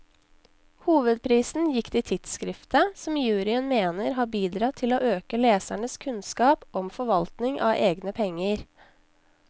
Hovedprisen gikk til tidskriftet, som juryen mener har bidratt til å øke lesernes kunnskap om forvaltning av egne penger.